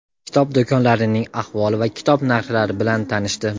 kitob do‘konlarining ahvoli va kitob narxlari bn tanishdi.